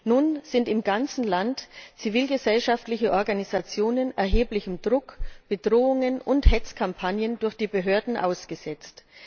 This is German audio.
Nun sind im ganzen Land zivilgesellschaftliche Organisationen erheblichem Druck, Bedrohungen und Hetzkampagnen durch die Behörden ausgesetzt.